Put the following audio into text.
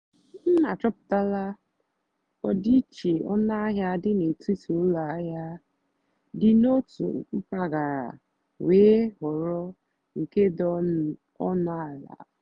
m àchọ́pụ́tálá ọ́dị́íché ónúàhịá dì n'étìtì ụ́lọ àhịá dì n'ótù mpàgàrà wéé họ́rọ́ nkè dì ónú àlà.